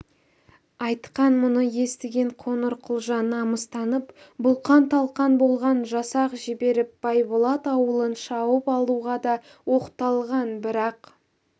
айтқан мұны естіген қоңырқұлжа намыстанып бұлқан-талқан болған жасақ жіберіп байболат ауылын шауып алуға да оқталған бірақ